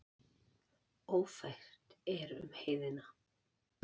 Ófært er um heiðina.